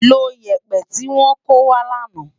Ló yèpè ti wò kówá làná